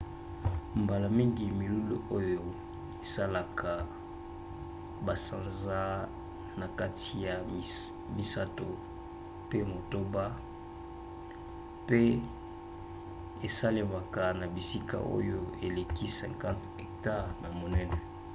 mbala mingi milulu oyo esalaka basanza na kati ya misato mpe motoba mpe esalemaka na bisika oyo eleki 50 hectare na monene